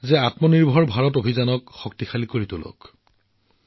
আত্মনিৰ্ভৰশীল ভাৰত অভিযানৰ ওপৰত গুৰুত্ব দিবলৈ পুনৰ আহ্বান জনালোঁ